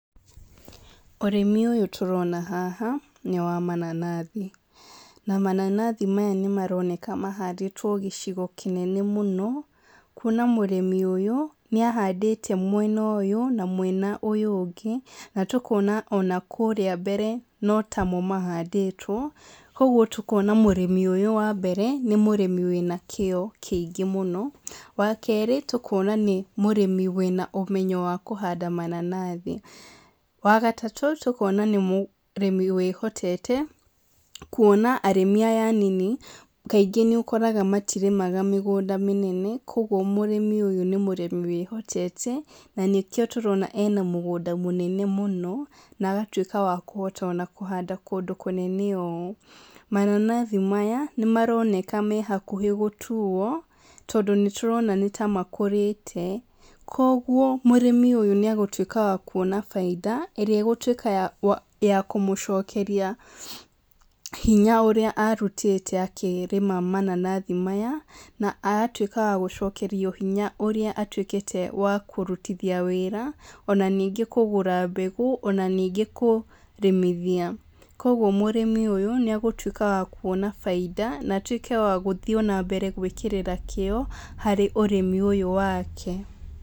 Ũrĩmi ũyũ tũrona haha nĩ wa mananathi, na mananathi maya maroneka mahandĩtwo gĩcigo kĩnene mũno kwona mũrĩmi ũyũ nĩ ahandĩte mwena ũyũ na mwena ũyũ ũngĩ na tũkona ona kũrĩa mbere notamo mahandĩtwo, kwoguo tũkona mũrĩmi ũyũ wa mbere nĩ mũrĩmi wĩna kĩo kĩingĩ mũno wa kerĩ tũkona mũrĩmi wĩna ũmenyo wa kũhanda mananathi. Wa gatatũ tũkona nĩ mũrĩmi wĩhotete kwona arĩmi aya anini kaingĩ nĩ ũkoraga matirĩmaga mĩgũnda mĩnene kwoguo mũrĩmi ũyũ nĩ mũrĩmi wĩhotete na nĩkĩo tũrona ena mũgũnda mũnene mũno, na agatuĩka ona wakũhanda kũndũ kũnene ũũ. Mananathi maya nĩ maroneka me hakuhĩ gũtuo tondũ nĩ tũrona nĩ ta makũrĩte kwoguo mũrĩmi ũyũ nĩ ekwona baita ĩrĩa ĩgũtuĩka ya kũmũcokeria hinya ũrĩa arutĩte akĩrĩma mananathi maya na agacoka agatuĩka wa gũcokerio hinya ũrĩa arutĩte wa kũrutithia wĩra ona ningĩ kũgũra mbegũ ona ningĩ kũrĩmithia, kwoguo mũrĩmi ũyũ nĩ agũtuĩka wa kwona baita na atuĩke wa gũthiĩ na mbere gwĩkĩra kĩo harĩ ũrĩmi ũyũ wake.